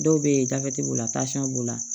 Dɔw bɛ yen gafe b'o la tansiyɔn b'o la